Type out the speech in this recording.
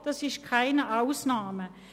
Das ist keine Ausnahme.